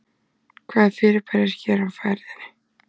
Hvaða fyrirbæri er hér á ferðinni?